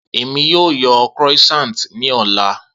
Emi yoo yan croissants ni ọla